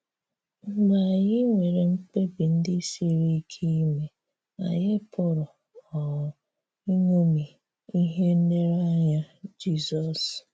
Mgbe anyị nwerè mkpebì ndị̀ siri ike ime, anyị pụrụ um iṅomì ihè nlereanyà Jizọs.